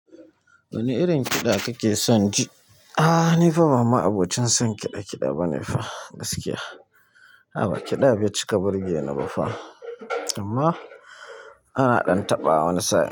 Wani irin kiɗa kake son ji? Ahhh nifa ba ma abocin son kiɗa kiɗa ba ne fa gaskiya. A'a ba kiɗa bai cika burgeni ba fa amma ana ɗan taɓa wani sa'in.